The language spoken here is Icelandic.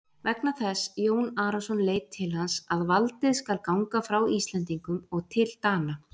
Vegna þess, Jón Arason leit til hans,-að valdið skal ganga frá Íslendingum og til Dana.